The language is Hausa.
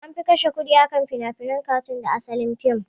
Anfi kashe kudi akan finafinen katoons da asalin fim